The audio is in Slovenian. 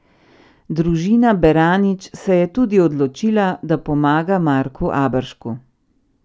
Družina Beranič se je tudi odločila, da pomaga Marku Aberšku.